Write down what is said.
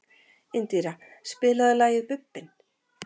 Indíra, spilaðu lagið „Bubbinn“.